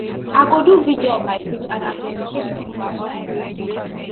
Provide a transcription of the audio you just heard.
i go do video on my page and i go educate pipo about spraying money